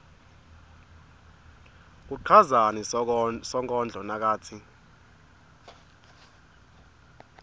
uchazani sonkondlo nakatsi